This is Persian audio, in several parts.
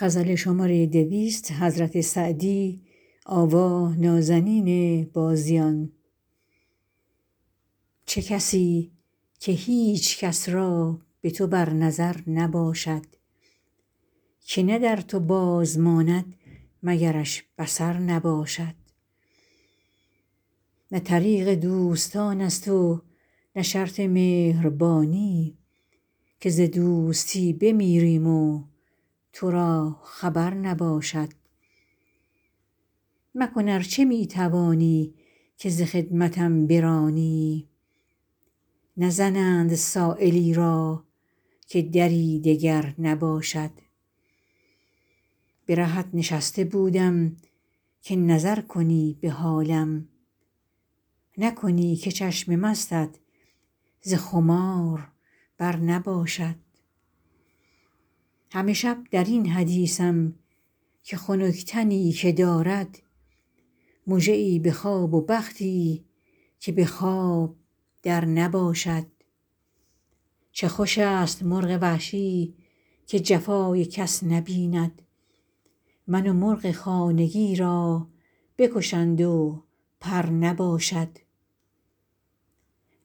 چه کسی که هیچ کس را به تو بر نظر نباشد که نه در تو باز ماند مگرش بصر نباشد نه طریق دوستان است و نه شرط مهربانی که ز دوستی بمیریم و تو را خبر نباشد مکن ار چه می توانی که ز خدمتم برانی نزنند سایلی را که دری دگر نباشد به رهت نشسته بودم که نظر کنی به حالم نکنی که چشم مستت ز خمار بر نباشد همه شب در این حدیثم که خنک تنی که دارد مژه ای به خواب و بختی که به خواب در نباشد چه خوش است مرغ وحشی که جفای کس نبیند من و مرغ خانگی را بکشند و پر نباشد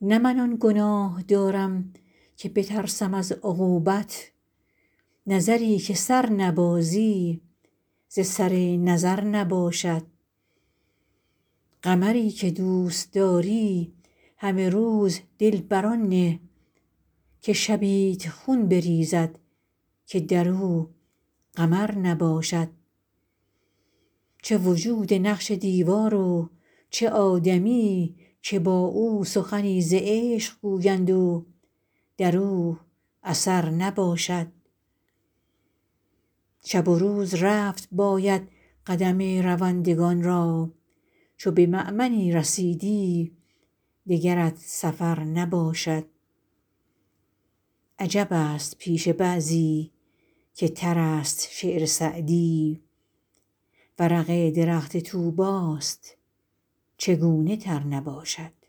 نه من آن گناه دارم که بترسم از عقوبت نظری که سر نبازی ز سر نظر نباشد قمری که دوست داری همه روز دل بر آن نه که شبیت خون بریزد که در او قمر نباشد چه وجود نقش دیوار و چه آدمی که با او سخنی ز عشق گویند و در او اثر نباشد شب و روز رفت باید قدم روندگان را چو به مأمنی رسیدی دگرت سفر نباشد عجب است پیش بعضی که تر است شعر سعدی ورق درخت طوبی ست چگونه تر نباشد